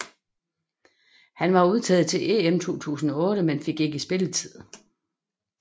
Han var udtaget til EM 2008 men fik ikke spilletid